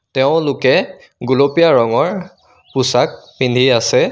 তেওঁলোকে গুলপীয়া ৰঙৰ পোছাক পিন্ধি আছে.